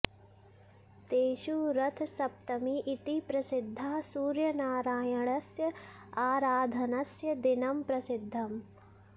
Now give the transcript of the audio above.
तेषु रथसप्तमी इति प्रसिद्धा सूर्यनारायणस्य आराधनस्य दिनं प्रसिद्धम्